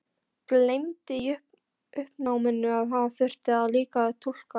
Gleymdi í uppnáminu að hún þurfti líka að túlka.